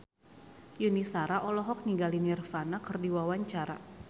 Yuni Shara olohok ningali Nirvana keur diwawancara